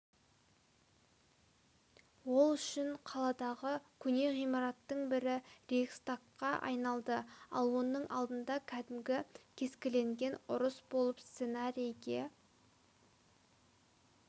ол үшін қаладағы көне ғимараттың бірі рейхстагқа айналды ал оның алдында кәдімгі кескілескен ұрыс болып сценарийге